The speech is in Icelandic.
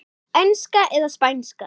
Enska eða Spænska?